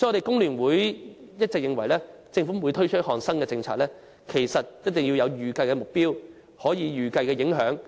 工聯會一直認為，政府推出新政策前，一定要訂下預計目標和評估影響。